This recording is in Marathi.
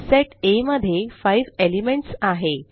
सेट आ मध्ये 5 एलिमेंट्स आहे